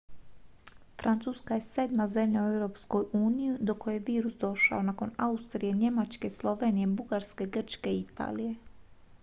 francuska je sedma zemlja u europskoj uniji do koje je virus došao nakon austrije njemačke slovenije bugarske grčke i italije